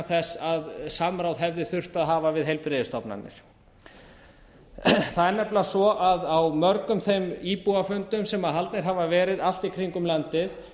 þess að samráð hefði þurft að hafa við heilbrigðisstofnanir það er nefnilega svo að á mörgum þeim íbúafundum sem haldnir hafa árið allt í kringum landið